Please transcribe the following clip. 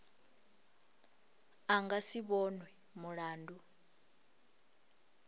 a nga si vhonwe mulandu